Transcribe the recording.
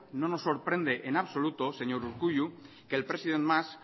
no nos sorprende en absoluto señor urkullu que el presidente mas